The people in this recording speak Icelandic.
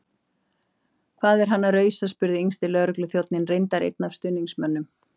Hvað er hann að rausa? spurði yngsti lögregluþjónninn- reyndar einn af stuðningsmönnum